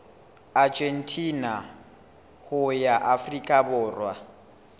argentina ho ya afrika borwa